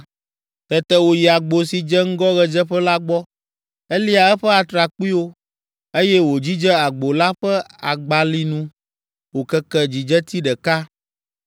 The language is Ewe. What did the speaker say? Tete wòyi agbo si dze ŋgɔ ɣedzeƒe la gbɔ. Elia eƒe atrakpuiwo, eye wòdzidze agbo la ƒe agbalinu wòkeke dzidzeti ɖeka.